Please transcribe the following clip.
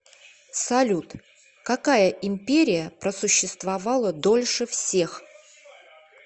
салют какая империя просуществовала дольше всех